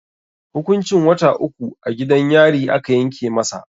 Hukuncin wata uku a gidan yari aka yanke masa.